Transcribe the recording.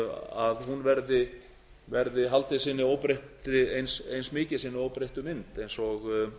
að hún haldi eins mikið sinni óbreyttu mynd eins og